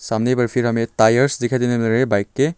सामने टायर्स दिखाई देने मिल रहे बाइक के।